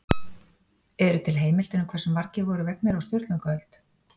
Eru til heimildir um hversu margir voru vegnir á Sturlungaöld?